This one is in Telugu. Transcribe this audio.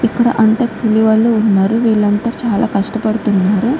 ఇక్కడ అంతా కూలి వాళ్ళు ఉన్నారు. ఇక్కడ వీళ్లంతా చాలా కష్టపడుతున్నారు.